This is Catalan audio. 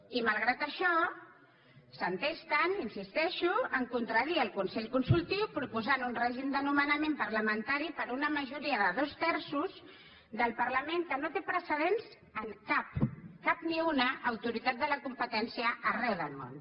i malgrat això s’entesten hi insisteixo a contradir el consell consultiu proposant un règim de nomenament parlamentari per una majoria de dos terços del parlament que no té precedents en cap cap ni una autoritat de la competència arreu del món